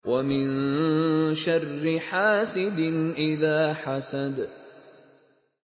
وَمِن شَرِّ حَاسِدٍ إِذَا حَسَدَ